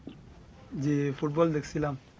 জ্বি ফুটবল দেখছিলাম